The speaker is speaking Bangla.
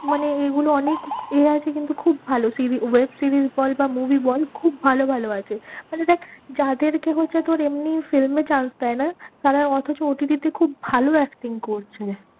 মানে এইগুলো অনেক এ আছে কিন্তু খুব ভালো TVweb series বল বা movie বল খুব ভালো ভালো আছে, মানে দেখ যাদেরকে হচ্ছে তোর এমনি film এ chance দেয় না, তারা অথচ OTT তে খুব ভালো acting করছে।